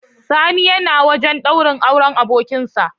Sani yana wajan daurin auren abokin sa